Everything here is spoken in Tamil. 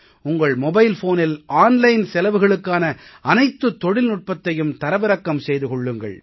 உங்கள் மொபைல் ஃபோனில் ஆன்லைன் செலவுகளுக்கான அனைத்துத் தொழில்நுட்பத்தையும் தரவிறக்கம் செய்து கொள்ளுங்கள்